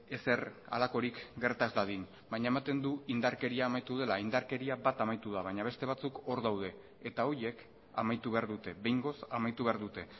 ezer halakorik gerta ez dadin baina ematen du indarkeria amaitu dela indarkeria bat amaitu da baina beste batzuk hor daude eta horiek amaitu behar dute behingoz amaitu behar dute